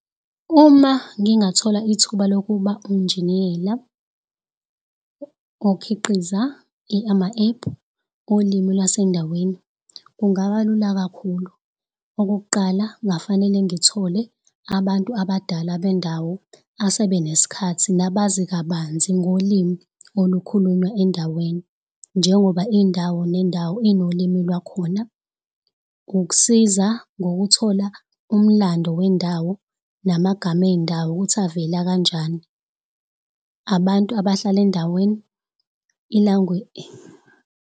Uma ngingathola ithuba lokuba unjiniyela okhiqiza ama-app olimi lwasendaweni kungaba lula kakhulu. Okokuqala kungafanele ngithole abantu abadala bendawo asebeneskhathi nabazi kabanzi ngolimi olukhulunywa endaweni. Njengoba indawo nendawo inolimi lwakhona ukusiza ngokuthola umlando wendawo. Namagama ey'ndawo ukuthi avela kanjani, abantu abahlala endaweni .